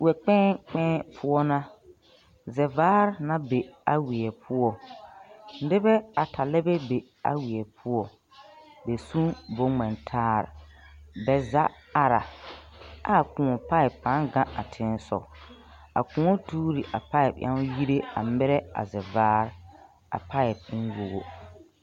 Wɛkpɛɛ kpɛɛ poɔ na, zevaar na be a weɛ poɔ, nebɛ ata lɛbɛ be a weɛ poɔ, ba sun boŋŋmɛtaar. Bɛ zaa ara, ɛ a kõɔ paip pãã gaŋ a teŋ sɔg. a kõɔ tuuri a paip yaŋ yire a merɛ a zevaar, a paip en wogo.